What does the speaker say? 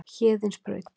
Héðinsbraut